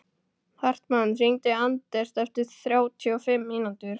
Hartmann, hringdu í Anders eftir þrjátíu og fimm mínútur.